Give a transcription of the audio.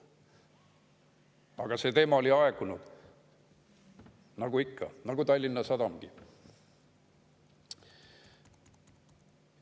Aga see teema oli aegunud, nagu ikka, nagu aegus Tallinna Sadama teemagi.